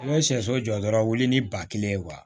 N bɛ sɛso jɔ dɔrɔn wili ni ba kelen ye